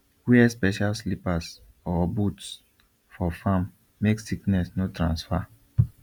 wear special slippers or boots for farm make sickness no transfer